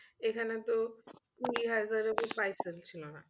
এখানে তো কুড়ি হাজারের উপর ছিলনা।